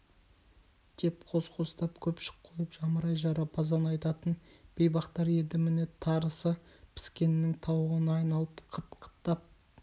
деп қос-қостап көпшік қойып жамырай жарапазан айтатын бейбақтар енді міне тарысы піскеннің тауығына айналып қыт-қыттап